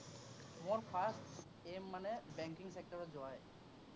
মোৰ first aim মানে banking sactor ত যোৱায়েই।